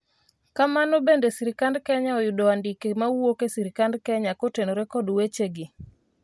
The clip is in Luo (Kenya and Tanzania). kamano bende sirikand Kenya oyudo andike mawuok e sirikand Kenya kotenore kod weche gi